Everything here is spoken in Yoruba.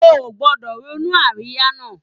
O ò gbọdọ̀ ronú àríyá náà